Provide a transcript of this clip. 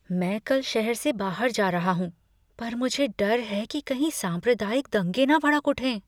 मैं कल शहर से बाहर जा रहा हूँ पर मुझे डर है कि कहीं सांप्रदायिक दंगे न भड़क उठें।